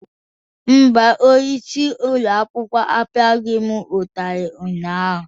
Mba, onyeisi ụlọ akwụkwọ apịaghị m ụtarị ụnyaahụ.